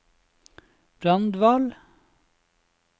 Brandval